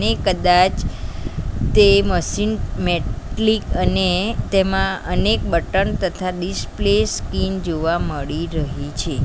એ કદાચ તે machine metallic અને તેમાં અનેક બટન તથા ડિસ્પ્લે સ્કિન જોવા મળી રહી છે.